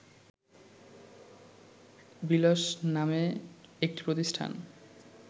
বিলস নামে একটি প্রতিষ্ঠান